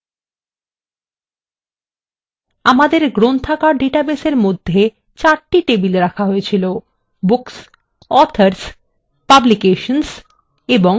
আমাদের গ্রন্থাগার ডাটাবেসের মধ্যে চারটি টেবিল রাখা হয়েছিল: books authors publications and members